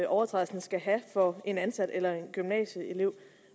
overtrædelsen skal have for en ansat eller en gymnasieelev